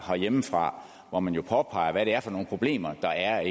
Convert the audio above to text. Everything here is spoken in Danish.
herhjemmefra hvor man jo påpeger hvad det er for nogle problemer der er